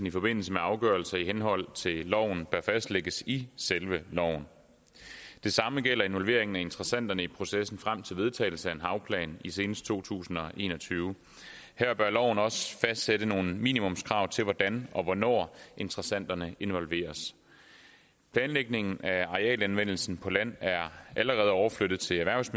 i forbindelse med afgørelser i henhold til loven der fastlægges i selve loven det samme gælder involveringen af interessenterne i processen frem til vedtagelsen af en havplan senest i to tusind og en og tyve her bør loven også fastsætte nogle minimumskrav til hvordan og hvornår interessenterne involveres planlægningen af arealanvendelsen på land er allerede overflyttet til erhvervs